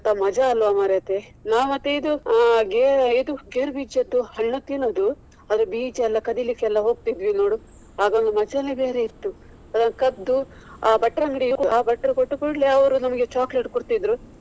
ಮಜಾ ಅಲ್ವಾ ಮಾರೇತಿ. ನಾವು ಮತ್ತೆ ಇದು ಆ ಗೇ~ ಇದು ಗೇರು ಬೀಜದ್ದು ಹಣ್ಣು ತಿನ್ನುದು ಆದ್ರೆ ಬೀಜಯೆಲ್ಲ ಕದಿಲಿಕ್ಕೆ ಹೋಗ್ತಿದ್ವಿ ನೋಡು, ಆಗ ಒಂದು ಮಜಾನೇ ಬೇರೆ ಇತ್ತು, ಅದನ್ನು ಕದ್ದು ಆ ಭಟ್ರ ಅಂಗಡಿ ಆ ಭಟ್ರು ಕೊಟ್ಟ ಕೂಡ್ಲೆ ಅವ್ರು ನಮ್ಗೆ chocolate ಕೊಡ್ತಿದ್ರು.